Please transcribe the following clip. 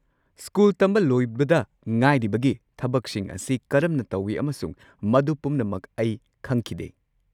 School ꯇꯝꯕ ꯂꯣꯏꯕꯗ ꯉꯥꯏꯔꯤꯕꯒꯤ ꯊꯕꯛꯁꯤꯡ ꯑꯁꯤ ꯀꯔꯝꯅ ꯇꯧꯋꯤ ꯑꯃꯁꯨꯡ ꯃꯗꯨ ꯄꯨꯝꯅꯃꯛ ꯑꯩ ꯈꯪꯈꯤꯗꯦ꯫